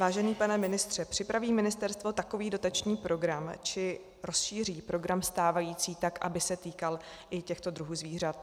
Vážený pane ministře, připraví ministerstvo takový dotační program či rozšíří program stávající tak, aby se týkal i těchto druhů zvířat?